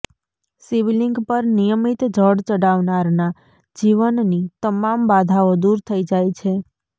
શિવલિંગ પર નિયમિત જળ ચડાવનારના જીવનની તમામ બાધાઓ દૂર થઈ જાય છે